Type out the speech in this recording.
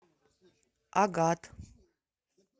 агат